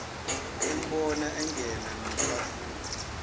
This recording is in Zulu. embona engena nofafuba